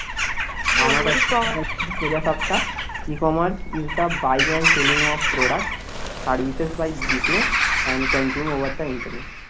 সোজা সাপ্টা ecommerce is the buying and selling of the product